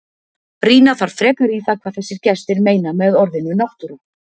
Rýna þarf frekar í það hvað þessir gestir meina með orðinu náttúra.